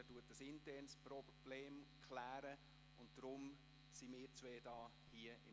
Er klärt ein internes Problem, deshalb arbeiten derzeit wir beide hier .